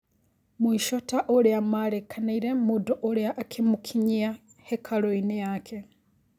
Mũico ta ũrĩa marĩkanĩire mũndũ ũrĩa akĩmũkinyia hekalũinĩ yake.